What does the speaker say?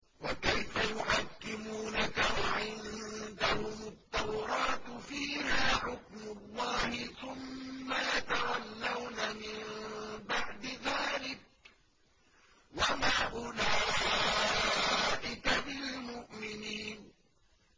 وَكَيْفَ يُحَكِّمُونَكَ وَعِندَهُمُ التَّوْرَاةُ فِيهَا حُكْمُ اللَّهِ ثُمَّ يَتَوَلَّوْنَ مِن بَعْدِ ذَٰلِكَ ۚ وَمَا أُولَٰئِكَ بِالْمُؤْمِنِينَ